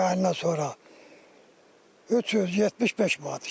May ayından sonra 375 manat.